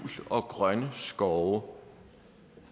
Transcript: og grønne skove